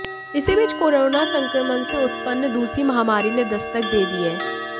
इसी बीच कोरोना संक्रमण से उत्पन्न दूसरी महामारी ने दस्तक दे दी है